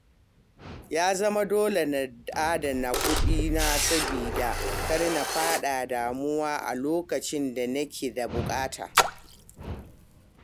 Ya zama dole na adana kudina saboda kar na fada damuwa a lokacin da nake da bukata.